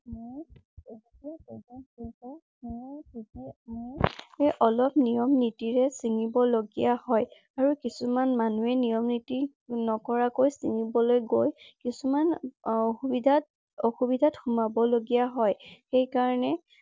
সেই কাৰণে অলপ নিয়ম নীতিৰে চিঙিব লগীয়া হয়। আৰু কিছুমান মানুহে নিয়ম নীতি নকৰাকৈ চিঙিবলৈ গৈ কিছুমান অসুবিধাত অসুবিধাত সুমাব লগীয়া হয়।